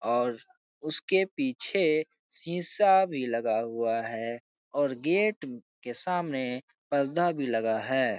और उसके पीछे शीशा भी लगा हुआ है और गेट के सामने पर्दा भी लगा है ।